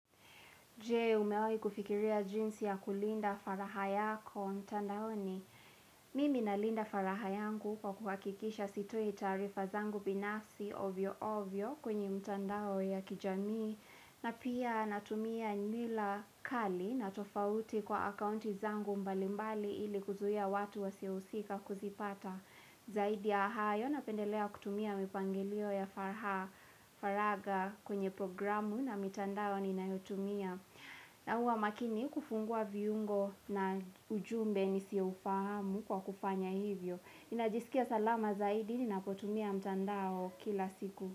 Jee, umeoi kufikiria jinsi ya kulinda faraha yako, mtandaoni? Mimi na linda faraha yangu kwa kuhakikisha sitoi taarifa zangu binafsi ovyo ovyo kwenye mtandao ya kijamii. Na pia natumia nila kali na tofauti kwa akaunti zangu mbalimbali ili kuzuia watu wasiohusika kuzipata. Zaidi ya hayo napendelea kutumia mipangilio ya falha faraga kwenye programu na mitandao ninayotumia. Na huwa makini kufungua viungo na ujumbe nisio ufahamu kwa kufanya hivyo. Ninajisikia salama zaidi ninapotumia mtandao kila siku.